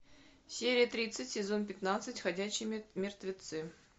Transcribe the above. серия тридцать сезон пятнадцать ходячие мертвецы